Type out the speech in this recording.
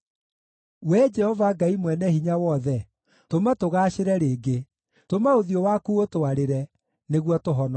Wee Jehova Ngai Mwene-Hinya-Wothe, tũma tũgaacĩre rĩngĩ; tũma ũthiũ waku ũtwarĩre, nĩguo tũhonoke.